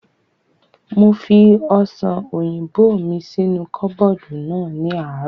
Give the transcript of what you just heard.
Mo fi ọ̀sàn òyìnbó mi sínú kọ́bọ̀dù náà ní àárọ̀